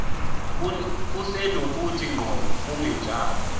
kusenokuthi ngqo kungenjalo